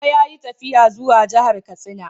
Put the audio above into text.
Baba ya yi tafiya zuwa jihar Katsina.